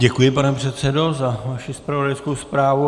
Děkuji, pane předsedo, za vaši zpravodajskou zprávu.